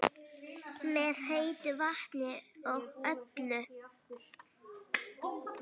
Með heitu vatni og öllu?